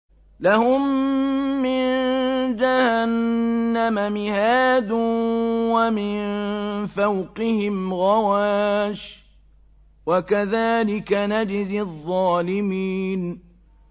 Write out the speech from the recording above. لَهُم مِّن جَهَنَّمَ مِهَادٌ وَمِن فَوْقِهِمْ غَوَاشٍ ۚ وَكَذَٰلِكَ نَجْزِي الظَّالِمِينَ